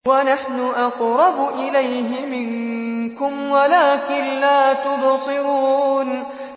وَنَحْنُ أَقْرَبُ إِلَيْهِ مِنكُمْ وَلَٰكِن لَّا تُبْصِرُونَ